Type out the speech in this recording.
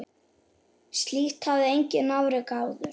Slíkt hafði enginn afrekað áður.